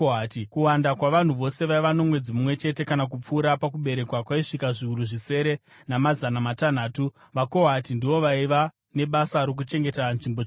Kuwanda kwavanhu vose vaiva nomwedzi mumwe chete kana kupfuura pakuberekwa kwaisvika zviuru zvisere namazana matanhatu. VaKohati ndivo vaiva nebasa rokuchengeta nzvimbo tsvene.